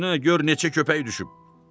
Bir sümüyün üstünə gör neçə köpək düşüb.